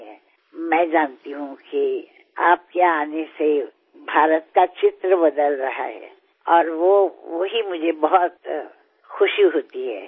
હું જાણું છું કે આપના આવવાથી ભારતનું ચિત્ર બદલાઈ રહ્યું છે અને તે મને તેનાથી બહુ જ આનંદ થાય છે